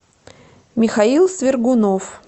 михаил свергунов